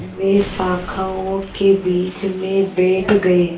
वे शाखाओं के बीच में बैठ गए